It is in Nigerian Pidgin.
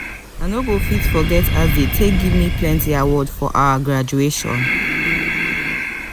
i no go fit forget as dem take give me plenty award for our graduation.